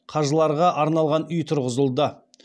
қажыларға арналған үй тұрғызылды